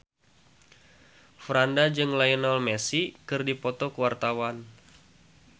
Franda jeung Lionel Messi keur dipoto ku wartawan